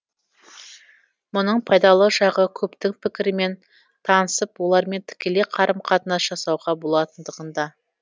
мұның пайдалы жағы көптің пікірімен танысып олармен тікелей қарым қатынас жасауға болатындығында